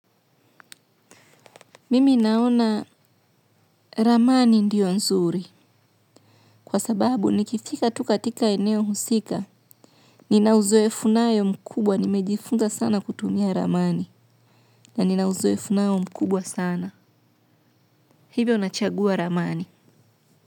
Mimi naona ramamani ndio nzuri kwa sababu nikifika tu katika eneo husika. Ninauzoefu nayo mkubwa nimejifunza sana kutumia ramani na ninauzoefu nao mkubwa sana. Hivyo nachagua ramani.